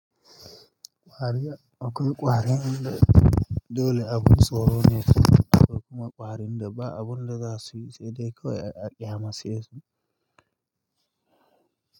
Ƙwarya akwai ƙwarin da dole a bun tsoro ne, akwai kuma ƙwarin da ba'a bunda zasuyi saidai kawai a ƙyamace su.